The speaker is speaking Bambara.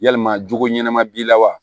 Yalima jogo ɲɛnama b'i la wa